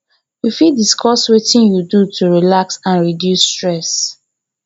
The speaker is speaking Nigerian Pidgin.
you fit discuss wetin you do to relax and reduce stress